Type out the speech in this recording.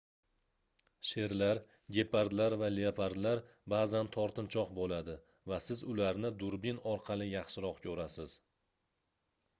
sherlar gepardlar va leopardlar baʼzan tortinchoq boʻladi va siz ularni durbin orqali yaxshiroq koʻrasiz